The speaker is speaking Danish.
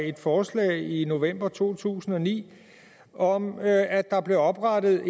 et forslag i november to tusind og ni om at der blev oprettet